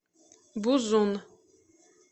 бузун